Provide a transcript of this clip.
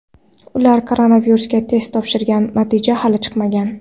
Ular koronavirusga test topshirgan, natija hali chiqmagan.